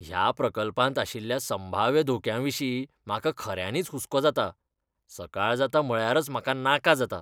ह्या प्रकल्पांत आशिल्ल्या संभाव्य धोक्यांविशीं म्हाका खऱ्यांनीच हुसको जाता, सकाळ जाता म्हळ्यारच म्हाका नाका जाता.